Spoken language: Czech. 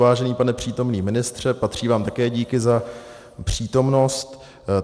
Vážený pane přítomný ministře, patří vám také díky za přítomnost.